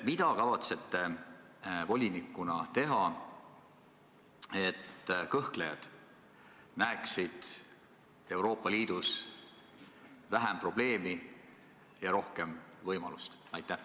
Mida te kavatsete volinikuna teha, et kõhklejad näeksid Euroopa Liidus vähem probleemi ja rohkem võimalust?